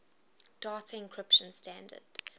data encryption standard